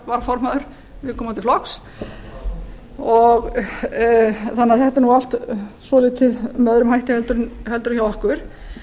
varaformaður viðkomandi flokks þannig að þetta er nú allt svolítið með öðrum hætti heldur en hjá okkur